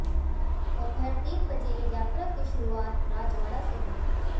दोपहर तीन बजे यात्रा की शुरूआत राजवाड़ा से हुई